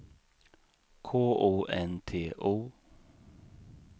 K O N T O